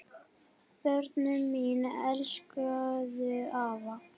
Börnin mín elskuðu afa.